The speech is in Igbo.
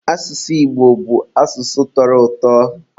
asụsụ Igbo bụ asụsụ tọrọ ụtọ.